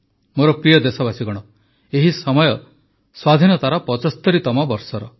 ମୋର ପ୍ରିୟ ଦେଶବାସୀଗଣ ଏହି ସମୟ ସ୍ୱାଧୀନତାର ୭୫ତମ ବର୍ଷର